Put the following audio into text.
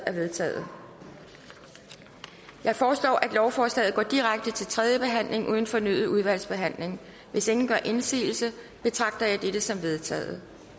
er vedtaget jeg foreslår at lovforslaget går direkte til tredje behandling uden fornyet udvalgsbehandling hvis ingen gør indsigelse betragter jeg dette som vedtaget